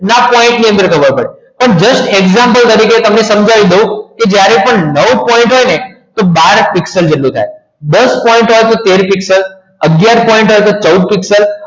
પડે પણ just example તરીકે તમને સમજાવી દઉં પણ જ્યારે નવ point હોય ને તો બાર પીક્સ થાય દસ point હોય ને તો તેર આગયાર point હોય તો ચૌદ પીક્સલ